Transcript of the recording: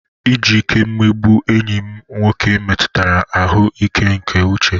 Iji ike mmegbu enyi m nwoke metụtara ahụ́ ike nke uche.